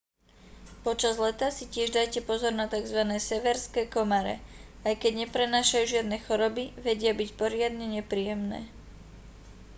počas leta si tiež dajte pozor na tzv severské komáre aj keď neprenášajú žiadne choroby vedia byť poriadne nepríjemné